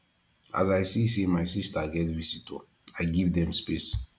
as i see sey my sista get visitor i give dem space